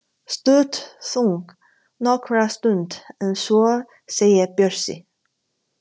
Stutt þögn nokkra stund en svo segir Bjössi: